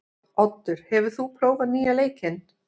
Oddur, hefur þú prófað nýja leikinn?